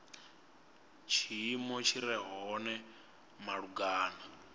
tshiimo tshi re hone malugana